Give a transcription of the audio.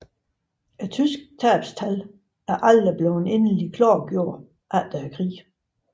Det tyske tabstal er aldrig blevet endelig klarlagt efter krigen